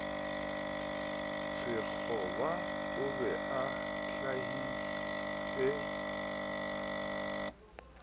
sekgoba o be o hlahise